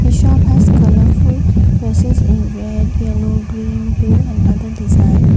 the shop has colourful dresses in red yellow green blue and other design.